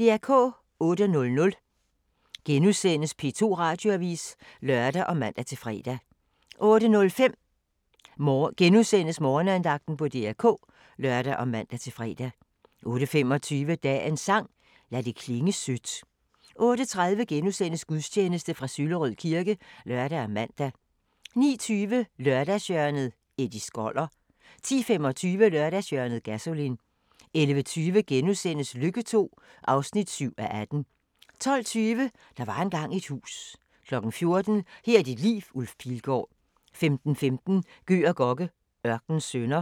08:00: P2 Radioavis *(lør og man-fre) 08:05: Morgenandagten på DR K *(lør og man-fre) 08:25: Dagens sang: Lad det klinge sødt 08:30: Gudstjeneste fra Søllerød kirke *(lør og man) 09:20: Lørdagshjørnet - Eddie Skoller 10:25: Lørdagshjørnet – Gasolin 11:20: Lykke II (7:18)* 12:20: Der var engang et hus 14:00: Her er dit liv – Ulf Pilgaard 15:15: Gøg og Gokke: Ørkenens sønner